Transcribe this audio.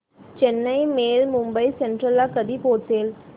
Chennai mail Mumbai central ला कधी पोहचेल